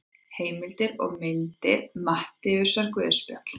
Heimildir og myndir Matteusarguðspjall.